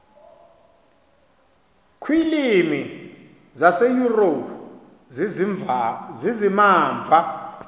kwiilwimi zaseyurophu zizimamva